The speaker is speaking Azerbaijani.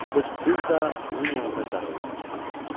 Qırqız da onun yanında qarovulunu çəkirdi.